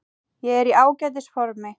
Ég er í ágætis formi.